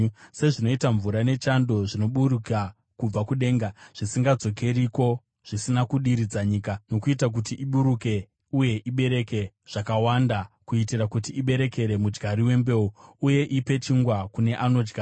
Sezvinoita mvura nechando zvinoburuka kubva kudenga, zvisingadzokeriko zvisina kudiridza nyika nokuita kuti ibukire uye ibereke zvakawanda, kuitira kuti iberekere mudyari wembeu, uye ipe chingwa kune anodya,